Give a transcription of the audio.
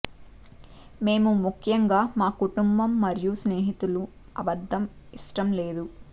మేము ముఖ్యంగా మా కుటుంబం మరియు స్నేహితులు అబద్ధం ఇష్టం లేదు